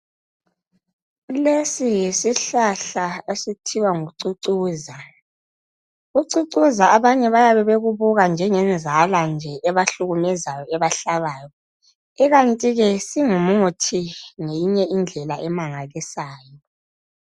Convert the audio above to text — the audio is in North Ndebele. Lesi yisihlahla esithiwa ngucucuza ucucuza abanye bayabe bekubuka njenge nzala nje ebahlukumezayo ebahlabayo ikanti ke singumuthi ngenye indlela emangalisayo